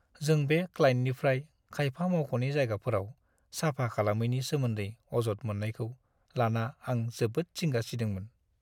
जों बे क्लाइन्टनिफ्राय खायफा मावख'नि जायगाफोराव साफा खालामैनि सोमोन्दै अजद मोन्नायखौ लाना आं जोबोद जिंगा सिदोंमोन।